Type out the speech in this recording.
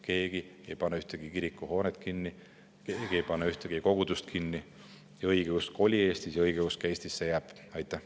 Keegi ei pane ühtegi kirikuhoonet kinni, keegi ei pane ühtegi kogudust kinni, õigeusk oli Eestis ja õigeusk jääb Eestisse.